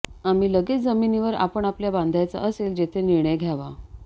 आम्ही लगेच जमिनीवर आपण आपल्या बांधायचा असेल जेथे निर्णय घ्यावा